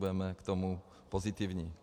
Budeme k tomu pozitivní.